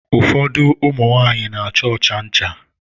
Ụfọdụ ụmụ nwanyị n'acha ọcha ncha.